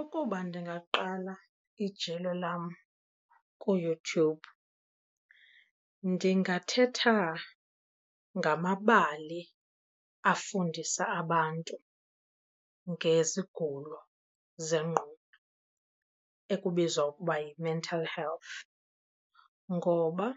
Ukuba ndingaqala ijelo lam kuYouTube ndingathetha ngamabali afundisa abantu ngezigulo zengqondo ekubizwa ukuba yi-mental health, ngoba